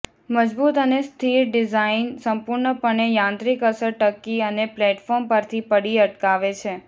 મજબૂત અને સ્થિર ડિઝાઇન સંપૂર્ણપણે યાંત્રિક અસર ટકી અને પ્લેટફોર્મ પરથી પડી અટકાવે છે